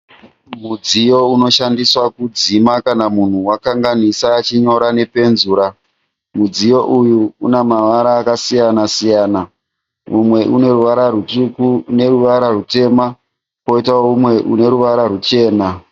Mudziyo inoshandiswa pakudzima kana munhu kanganisa achinyora nepenzura, mudziyo uyu unemavara akasiyanasiyana, umwe uneruvara rutsvuku nerivara rutema poitawo umwe uneruvara rwuchena.